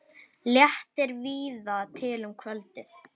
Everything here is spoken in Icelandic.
Léttir víða til um kvöldið